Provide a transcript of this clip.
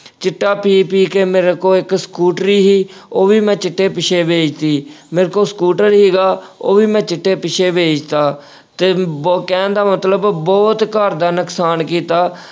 ਚਿੱਟਾ ਪੀ-ਪੀ ਕੇ ਮੇਰੇ ਕੋਲ ਇੱਕ ਸਕੂਟਰੀ ਸੀ ਉਹ ਵੀ ਮੈਂ ਚਿੱਟੇ ਪਿੱਛੇ ਵੇਚ ਤੀ, ਮੇਰੇ ਕੋਲ ਸਕੂਟਰ ਸੀਗਾ ਉਹ ਵੀ ਮੈਂ ਚਿੱਟੇ ਪਿੱਛੇ ਵੇਚ ਤਾ, ਤੇ ਬ ਅਹ ਕਹਿਣ ਦਾ ਮਤਲਬ ਬਹੁਤ ਘਰ ਦਾ ਨੁਕਸਾਨ ਕੀਤਾ।